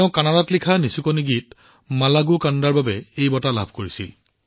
তেওঁ কানাড়াত লিখা তেওঁৰ নিচুকনি গীত মালাগু কান্দাৰ বাবে এই বঁটা লাভ কৰিছে